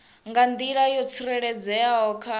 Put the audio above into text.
nga nḓila yo tsireledzeaho kha